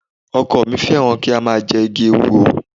Ọkọ mi fẹ́ràn kí ó máa jẹ igi ewúro